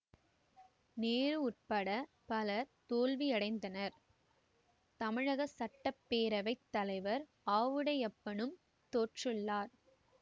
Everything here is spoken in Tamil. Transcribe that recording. நேரு உட்பட பலர் தோல்வியடைந்தனர் தமிழக சட்ட பேரவை தலைவர் ஆவுடையப்பனும் தோற்றுள்ளார்